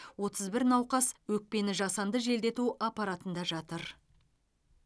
отыз бір науқас өкпені жасанды желдету аппаратында жатыр